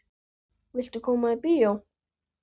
Viltu koma á bíó?